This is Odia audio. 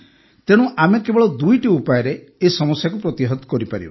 ତେଣୁ ଆମେ କେବଳ ଦୁଇଟି ଉପାୟରେ ଏହି ସମସ୍ୟାକୁ ପ୍ରତିହତ କରିପାରିବା